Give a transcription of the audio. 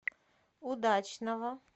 удачного